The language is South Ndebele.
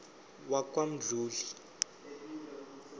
wakwamdluli